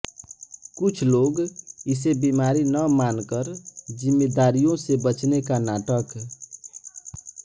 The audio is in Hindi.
कुछ लोग इसे बीमारी न मानकर जिम्मेदारियों से बचने का नाटक